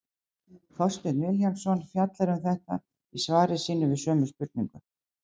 Þorsteinn Vilhjálmsson fjallar um þetta í svari sínu við sömu spurningu.